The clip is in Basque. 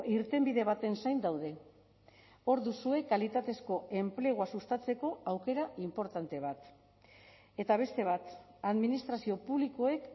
irtenbide baten zain daude hor duzue kalitatezko enplegua sustatzeko aukera inportante bat eta beste bat administrazio publikoek